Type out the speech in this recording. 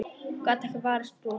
Gat ekki varist brosi.